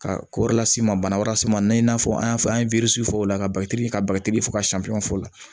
Ka ko wɛrɛ las'i ma bana wɛrɛ las'i ma i n'a fɔ an y'a fɔ an ye fɔ o la ka bagaji kɛ ka bagaji fo ka san fɛn fɔ o la